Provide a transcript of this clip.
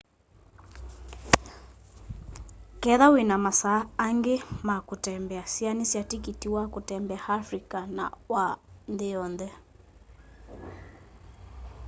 ketha wĩna masaa angĩ ma kũtembea sĩanĩsya tĩkĩtĩ wa kũtembea afrĩca na wa nthĩ yonthe